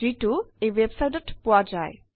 যিটো এই websiteত পোৱা যায়